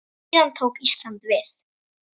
Síðan tók Ísland við.